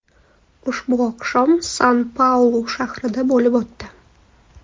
Ushbu oqshom San-Paulu shahrida bo‘lib o‘tdi.